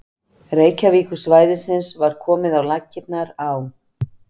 Reykjavíkursvæðisins var komið á laggirnar á